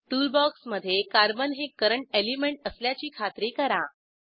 टूलबॉक्समधे carbon हे current element असल्याची खात्री करा